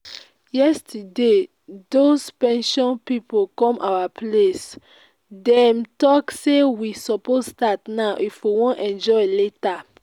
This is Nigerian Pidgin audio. yesterday doz pension people come our place. dem talk say we suppose start now if we wan enjoy later